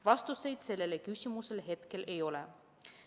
Vastuseid sellele küsimusele hetkel ei ole.